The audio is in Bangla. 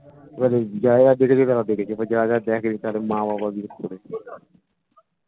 এবারে যারা যারা দেখেছে তারা দেখেছে যারা যারা দেখেনি তাদের মা বাবা বিশেষ করে